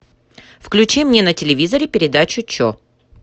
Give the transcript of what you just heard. включи мне на телевизоре передачу че